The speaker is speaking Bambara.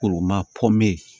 Koro ma